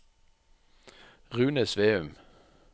Rune Sveum